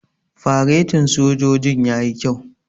Faretin sojojin yayi kyau.